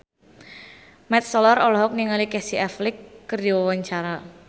Mat Solar olohok ningali Casey Affleck keur diwawancara